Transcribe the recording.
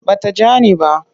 Ba ta ja ni ba.